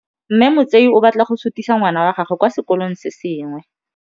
Mme Motsei o batla go sutisa ngwana wa gagwe kwa sekolong se sengwe.